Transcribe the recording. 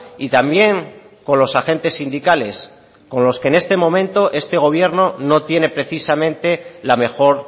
y también con los agentes sindicales con los que en este momento este gobierno no tiene precisamente la mejor